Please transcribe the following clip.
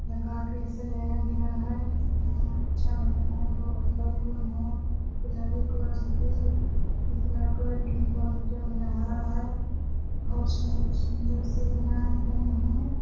लगा के सजाया गया है दिखने मे बहुत अच्छा लग रहा है बैलून है गुलाबी कलर के हॉर्स बहुत सुंदर से बनाए गए है |